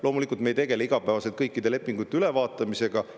Loomulikult ei tegele me igapäevaselt kõikide lepingute ülevaatamisega.